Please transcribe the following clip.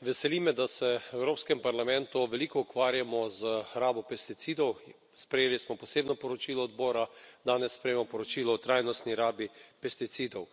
Veseli me, da se v Evropskem parlamentu veliko ukvarjamo z rabo pesticidov. Sprejeli smo posebno poročilo odbora, danes sprejemamo poročilo o trajnostni rabi pesticidov.